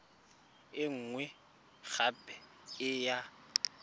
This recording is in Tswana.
e nngwe gape e ya